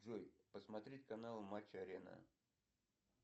джой посмотреть канал матч арена